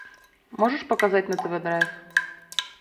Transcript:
можешь показать на тв драйв